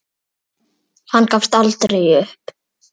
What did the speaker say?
Hann gafst aldrei upp.